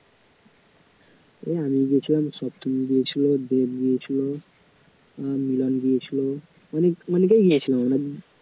এই আমি গিয়েছিলাম সপ্তমী গিয়েছিল, দেব গিয়েছিল আর মিলন গিয়েছিল আ~ মানে অনেকেই গিয়েছিলো